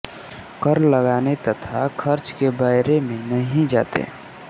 कर लगाने तथा खर्च के ब्यौरे में नहीं जाते